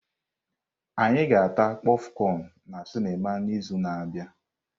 Anyị ga-ata kpofcon na sinima n'izu na-abịa.